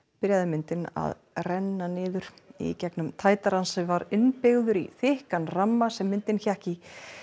byrjaði myndin að renna niður í gegnum tætara sem var innbyggður í þykkan ramman sem myndin hékk í